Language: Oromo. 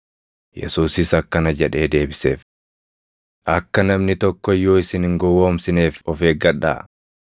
Yesuusis akkana jedhee deebiseef; “Akka namni tokko iyyuu isin hin gowwoomsineef of eeggadhaa.